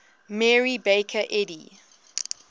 mary baker eddy